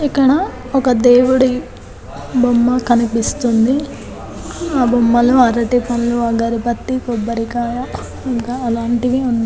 ఇక్కడ ఒక దేవుడి బొమ్మ కనిపిస్తుంది ఆ బొమ్మలో అరటి పళ్ళు ఆగరబతి కోబారికాయ ఇంకా అలాంటివి